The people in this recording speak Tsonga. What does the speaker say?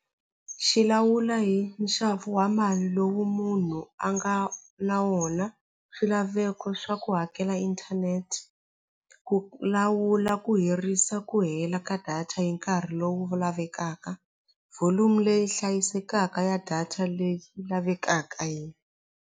Xi lawula hi nxavo wa mali lowu munhu a nga na wona swilaveko swa ku hakela inthanete ku lawula ku hirisa ku hela ka data hi nkarhi lowu lavekaka volume leyi hlayisekaka ya data leyi lavekaka .